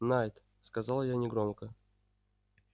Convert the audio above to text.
найд сказал я негромко